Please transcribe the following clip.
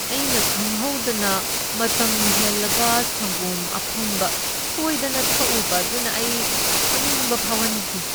ꯑꯩꯅ ꯈꯪꯍꯧꯗꯅ ꯃꯇꯝ ꯍꯦꯜꯂꯕ ꯁꯪꯒꯣꯝ ꯑꯐꯝꯕ ꯁꯣꯏꯗꯅ ꯊꯛꯎꯕ ꯑꯗꯨꯅ ꯑꯩ ꯑꯣꯅꯤꯡꯕ ꯐꯥꯎꯍꯟꯈꯤ ꯫